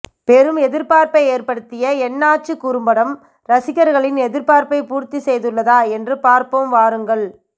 பெரும் எதிர்ப்பார்ப்பை ஏற்படுத்திய என்னாச்சு குறும்படம் ரசிகர்களின் எதிர்ப்பார்ப்பை பூர்த்தி செய்துள்ளதா என்று பார்ப்போம் வாருங்கள்